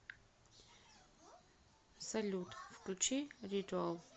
салют включи ритуал